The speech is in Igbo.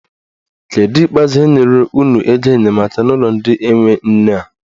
Kedụ ikpeazụ enyere unu ego enyemaka n'ụlọ ndị enwe nne a?